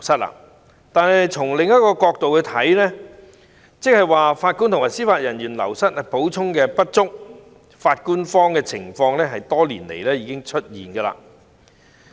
然而，從另一個角度來說，就是法官和司法人員流失的補充不足，"法官荒"的情況早在多年前已經出現。